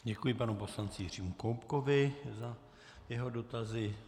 Děkuji panu poslanci Jiřímu Koubkovi za jeho dotazy.